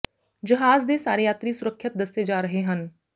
ਜਹਾਜ਼ ਦੇ ਸਾਰੇ ਯਾਤਰੀ ਸੁਰੱਖਿਅਤ ਦੱਸੇ ਜਾ ਰਹੇ ਹਨ